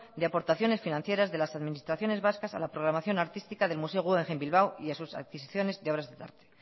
de aportaciones financieras de las administraciones vascas a la programación artística del museo guggenheim bilbao y a sus adquisiciones de obras de arte